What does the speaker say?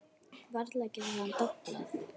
Varla getur hann doblað.